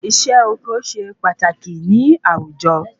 Isé oko se pataki ni àwùjọ